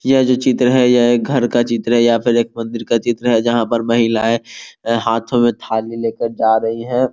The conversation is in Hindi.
ये जो चित्र है घर का चित्र है या एक मंदिर का चित्र है जहाँ पर महिलाएं हाथो में थाली लेकर जा रही है।